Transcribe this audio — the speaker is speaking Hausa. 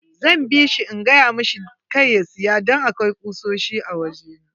Zan bishi in gayamasa kar ya siya don akwai kusoshi a waje na.